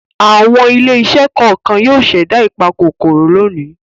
Àwọn ilé-iṣẹ́ kọ̀ọ̀kan yóò ṣẹ̀dá ìpakòkòrò lónìí.